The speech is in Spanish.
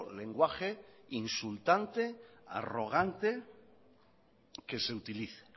lenguaje insultante arrogante que se utilice